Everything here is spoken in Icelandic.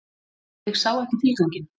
Ég sá ekki tilganginn.